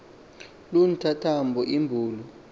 loo ntyantyambo inbulu